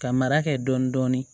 Ka mara kɛ dɔɔnin dɔɔnin